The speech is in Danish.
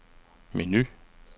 menu